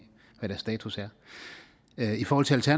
hvad deres status er i forhold til til